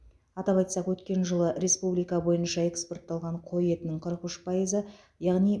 атап айтсақ өткен жылы республика бойынша экспортталған қой етінің қырық үш пайызы яғни